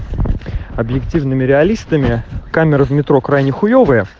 объективными реалистами камеры в метро крайне хуевые